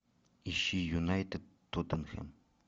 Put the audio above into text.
ищи юнайтед тоттенхэм